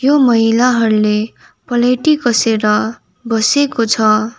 यो महिलाहरूले पलाइटी कसेर बसेको छ।